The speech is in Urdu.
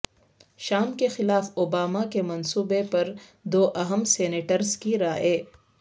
شام کے خلاف اوباما کے منصوبے پر دو اہم سینیٹرز کی رائے